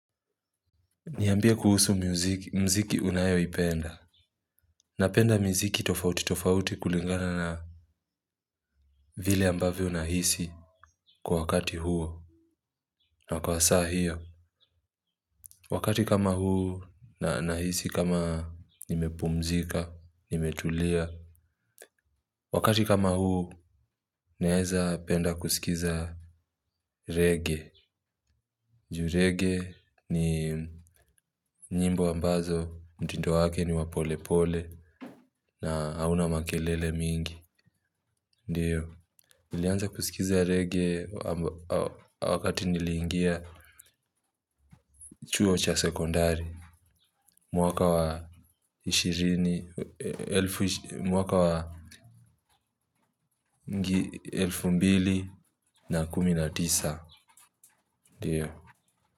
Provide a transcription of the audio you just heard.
Niyambia kuhusu mziki unayo ipenda. Napenda miziki tofauti tofauti kulingana na vile ambavyo nahisi kwa wakati huo. Na kwa saa hiyo. Wakati kama huu na nahisi kama nimepumzika nimetulia. Wakati kama huu. Naeza penda kusikiza Reggae ju raggae ni nyimbo ambazo mtindo wake ni wa pole pole. Na hauna makelele mingi ndiyo. Nilianza kusikiza reggae wakati nilingia chuo cha sekondari. Mwaka wa Ishirini Mwaka wa elfu mbili na kumi na tisa. Ndiyo.